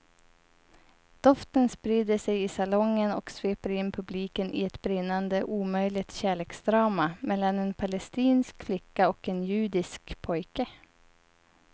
Doften sprider sig i salongen och sveper in publiken i ett brinnande omöjligt kärleksdrama mellan en palestinsk flicka och en judisk pojke.